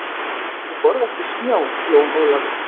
Ég borða ekki snjó, Jón Ólafur.